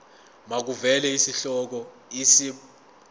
makuvele isihloko isib